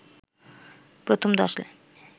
প্রথম ১০ লাইন